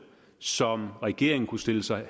som regeringen kunne stille sig